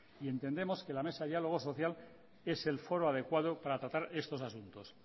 y entendemos que la mesa de diálogo social es el foro adecuado para tratar estos asuntos